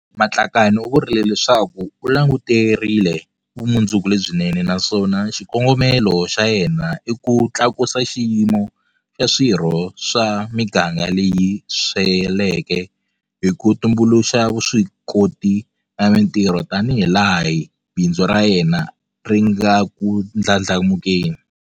Matlakane u vurile leswaku u languterile vumundzuku lebyinene naswona xikongomelo xa yena i ku tlakusa xiyimo xa swirho swa miganga leyi sweleke hi ku tumbuluxa vuswikoti na mitirho tanihilaha bindzu ra yena ri nga ku ndlandlamukeni.